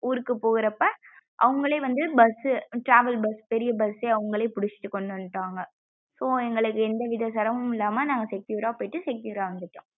ஊருக்கு போகுரப்ப அவுங்களே வந்து bus travel bus பெரிய bus அவுங்களே புடிச்சுட்டு கொண்டு வந்துட்டாங்க so எங்கலுக்கு எந்த வித சிரம்மம் இல்லம்மா நாங்க secure யா போயிட்டு secure யா வந்துட்டோம்.